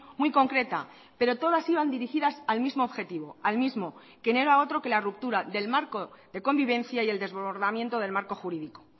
muy concreta pero todas iban dirigidas al mismo objetivo al mismo que no era otro que la ruptura del marco de convivencia y el desbordamiento del marco jurídico